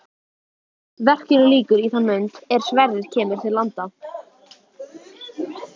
Verkinu lýkur í þann mund er Sverrir kemur til landa.